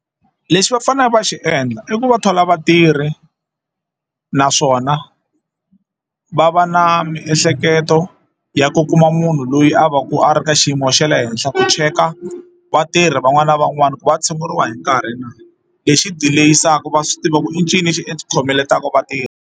Lexi va faneleke va xi endla i ku va thola vatirhi naswona va va na miehleketo ya ku kuma munhu loyi a va ku a ri ka xiyimo xa le henhla ku cheka vatirhi van'wana na van'wana ku va tshunguriwa hi nkarhi na lexi dileyisaka va swi tiva ku i ncini lexi xi khomeletaka vatirhi.